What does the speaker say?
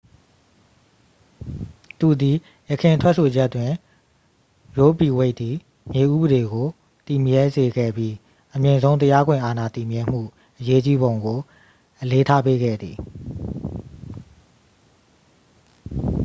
သူသည် ယခင်ထွက်ဆိုချက်တွင် ရိုးဗီဝိတ်သည် မြေဥပဒေကို တည်မြဲစေခဲ့ပြီး အမြင့်ဆုံးတရားခွင်အာဏာ တည်မြဲမှုအရေးကြီးပုံကို အလေးထားပေးခဲ့သည်